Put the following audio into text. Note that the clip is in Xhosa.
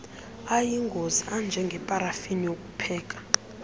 ayingozi anjengeparafini ukupheka